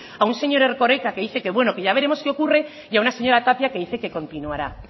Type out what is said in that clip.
a un señor erkoreka que dice que bueno que ya veremos qué ocurre y a una señora tapia que dice que continuará